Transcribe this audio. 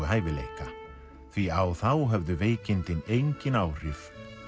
hæfileika því á þá höfðu veikindin engin áhrif